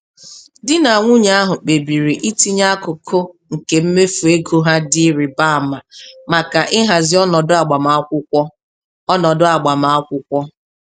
Di na nwunye ahụ kpebiri itinye akụkụ nke mmefu ego ha dị ịrịba ama maka ịhazi ọnọdụ agbamakwụkwọ. ọnọdụ agbamakwụkwọ.